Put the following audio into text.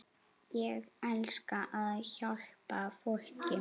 Ég elska að hjálpa fólki.